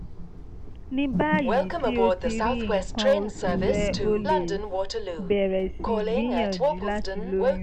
ní báyìí tí o ti rí nǹkan oṣù rẹ o lè bẹ̀rẹ̀ sí gbìyànjú láti lóyún